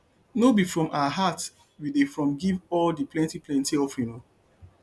no be from our heart we dey from give all di plenty plenty offering o